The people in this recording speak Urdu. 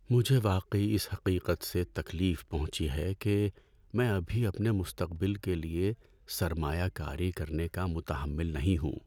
مجھے واقعی اس حقیقت سے تکلیف پہنچی ہے کہ میں ابھی اپنے مستقبل کے لیے سرمایہ کاری کرنے کا متحمل نہیں ہوں۔